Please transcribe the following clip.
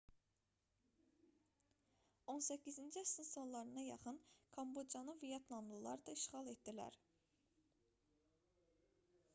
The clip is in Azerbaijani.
18-ci əsrin sonlarına yaxın kambocanı vyetnamlılar da işğal etdilər